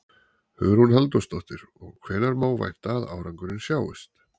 Hugrún Halldórsdóttir: Og hvenær má vænta að árangurinn sjáist?